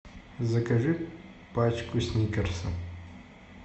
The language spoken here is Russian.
закажи пачку сникерса